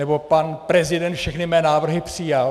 Nebo "pan prezident všechny mé návrhy přijal".